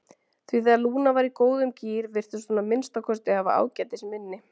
Því þegar Lúna var í góðum gír virtist hún að minnsta kosti hafa ágætis minni.